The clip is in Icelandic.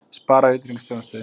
Sparað í utanríkisþjónustu